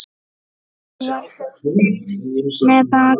Ég var heppin með bakarí.